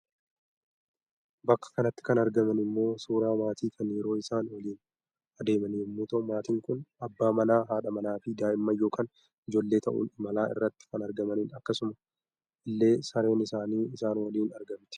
Bakka kanatti kan argaman immoo suuraa maatii kan yeroo isaan waliin adeeman yommuu ta'u maatiin kun abbaa manaa, haadha manaa fi daa'immaan yookaan ijoollee ta'uun imala irratti kan argamanidha. Akkasuma illee Sareen isaanii isaan waliin argamti.